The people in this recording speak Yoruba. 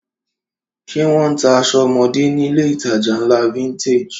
Ṣé wọ́n ń ta aṣọ ọmọdé nílé-ìtajà ńlá Vintage?